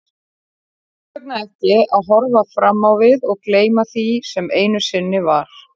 Hvers vegna ekki að horfa fram á við og gleyma því sem einu sinni var?